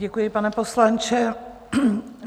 Děkuji, pane poslanče.